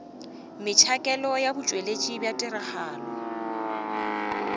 metšhakelo ya botšweletši bja tiragatšo